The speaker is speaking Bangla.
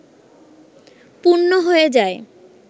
পূর্ণ হয়ে যায়